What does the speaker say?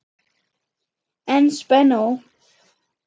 En spennó!